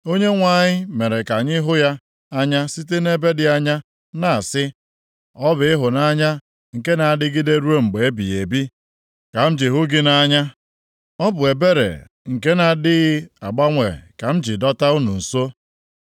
Onyenwe anyị mere ka anyị hụ ya anya site nʼebe dị anya, na-asị, “Ọ bụ ịhụnanya nke na-adịgide ruo mgbe ebighị ebi ka m ji hụ gị nʼanya; Ọ bụ ebere nke na-adịghị agbanwe ka m ji dọta unu nso.